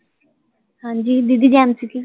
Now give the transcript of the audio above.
ਹਾਂਜੀ ਦੀਦੀ, ਜੈ ਮਸੀਹ ਕੀ